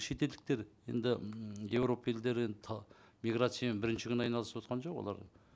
шетелдіктер енді м еуропа елдері енді миграциямен бірінші күн айналысып отырған жоқ олар